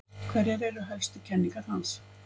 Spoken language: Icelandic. Hverjar eru helstu kenningar hans?